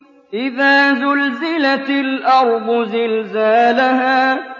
إِذَا زُلْزِلَتِ الْأَرْضُ زِلْزَالَهَا